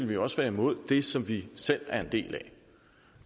vi også være imod det som vi selv er en del af